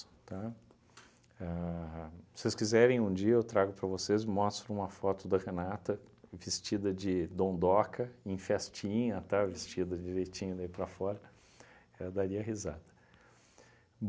Tá? A se vocês quiserem, um dia eu trago para vocês, mostro uma foto da Renata vestida de dondoca em festinha, tá, vestida direitinho daí para fora, ela daria risada.